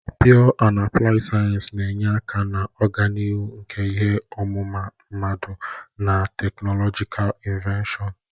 Pịyọ na apụlaid sayensị na-enye aka na ọganihu nke ihe ọmụma mmadụ na teknọlọjikal inọveshọn.